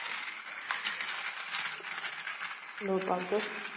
দুর্ভাগ্য।